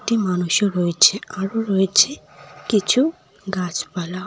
একটি মানুষও রয়েছে আরও রয়েছে কিছু গাছপালা।